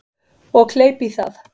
Og kleip í það.